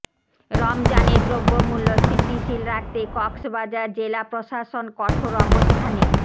রমজানে দ্রব্যমূল্য স্থিতিশীল রাখতে কক্সবাজার জেলা প্রশাসন কঠোর অবস্থানে